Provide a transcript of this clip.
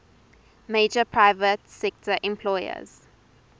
major private sector employers